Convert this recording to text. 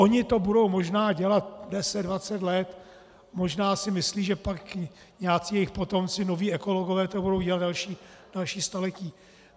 Oni to budou možná dělat deset, dvacet let, možná si myslí, že pak nějací jejich potomci, noví ekologové, to budou dělat další staletí.